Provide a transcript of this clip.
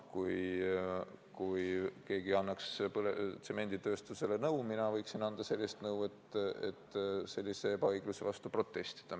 Kas keegi annaks tsemenditööstusele nõu , et sellise ebaõigluse vastu protestida?